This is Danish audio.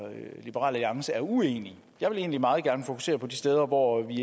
liberal alliance er uenige jeg vil egentlig meget gerne fokusere på de steder hvor vi